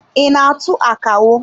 I na-atụ akawo?